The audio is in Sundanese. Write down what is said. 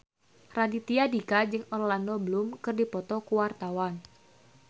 Raditya Dika jeung Orlando Bloom keur dipoto ku wartawan